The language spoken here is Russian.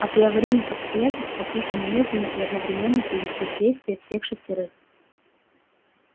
а при аварийных обстоятельствах нужно немедленно и одновременно привести в действие всех шестерых